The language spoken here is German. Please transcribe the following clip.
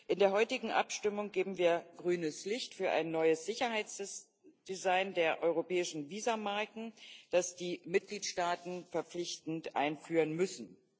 In der heutigen Abstimmung geben wir grünes Licht für ein neues Sicherheitsdesign der europäischen Visummarken, das die Mitgliedstaaten verpflichtend einführen müssen.